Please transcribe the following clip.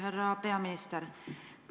Härra peaminister!